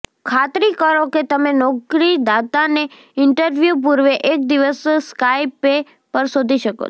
ખાતરી કરો કે તમે નોકરીદાતાને ઇન્ટરવ્યૂ પૂર્વે એક દિવસ સ્કાયપે પર શોધી શકો છો